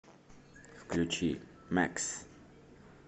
включи мэкс